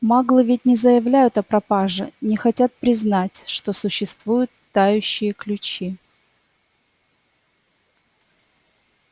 маглы ведь не заявляют о пропаже не хотят признать что существуют тающие ключи